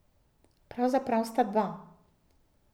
Pravzaprav sta dva.